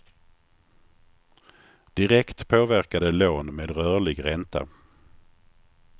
Direkt påverkar det lån med rörlig ränta.